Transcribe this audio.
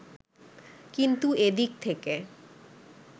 কিন্তু এ দিক থেকে